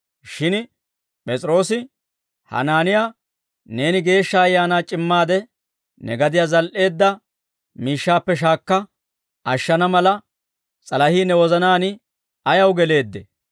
Shin P'es'iroosi Hanaaniyaa, «Neeni Geeshsha Ayaanaa c'immaade ne gadiyaa zal"eedda miishshaappe shaakka ashshana mala, s'alahii ne wozanaan ayaw geleeddee?